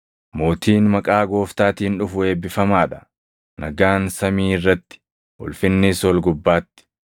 “Mootiin maqaa Gooftaatiin dhufu eebbifamaa dha!” + 19:38 \+xt Far 118:26\+xt* “Nagaan samii irratti, ulfinnis ol gubbaatti!”